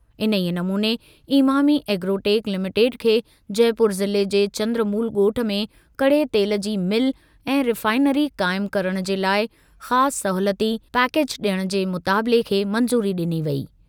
इन्हीअ नमूने Emami agrotech limited खे जयपुर ज़िले जे चंद्रमूल ॻोठु में कड़े तेल जी मिल ऐं रिफ़ाइनरी क़ाइम करणु जे लाइ ख़ासि सहूलियती पैकैज डि॒यण जे मुतालिबे खे मंज़ूरी डि॒नी वेई।